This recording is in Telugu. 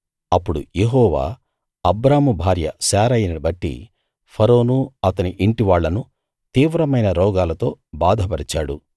అప్పుడు యెహోవా అబ్రాము భార్య శారయిని బట్టి ఫరోను అతని ఇంటివాళ్ళను తీవ్రమైన రోగాలతో బాధపరిచాడు